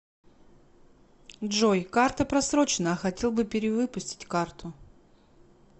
джой карта просроченна хотел бы перевыпустить карту